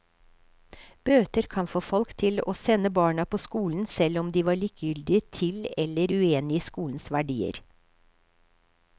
Bøter kunne få folk til å sende barna på skolen, selv om de var likegyldige til eller uenige i skolens verdier.